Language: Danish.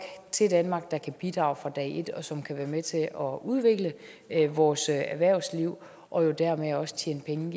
til danmark der kan bidrage fra dag et og som kan være med til at udvikle vores erhvervsliv og dermed også tjene penge